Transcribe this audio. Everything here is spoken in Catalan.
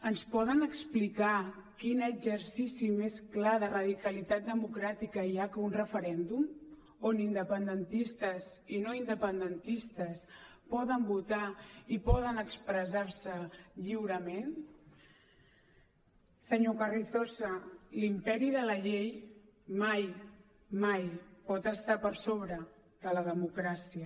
ens poden explicar quin exercici més clar de radicalitat democràtica hi ha que un referèndum on independentistes i no independentistes poden votar i poden expressar se lliurement senyor carrizosa l’imperi de la llei mai mai pot estar per sobre de la democràcia